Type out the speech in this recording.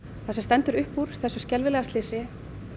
það sem stendur upp úr þessu skelfilega slysi